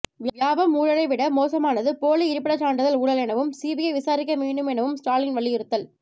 வியாபம் ஊழலைவிட மோசமானது போலி இருப்பிடச் சான்றிதழ் ஊழல் எனவும் சிபிஐ விசாரிக்க வேண்டும் எனவும் ஸ்டாலின் வலியுறுத்தல்